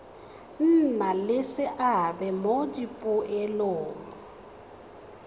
nna le seabe mo dipoelong